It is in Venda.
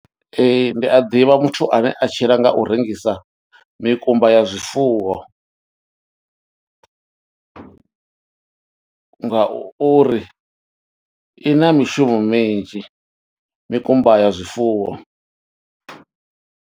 Ee ndi a ḓivha muthu ane a tshila nga u rengisa mikumba ya zwifuwo ngauri i na mishumo minzhi mikumba ya zwifuwo.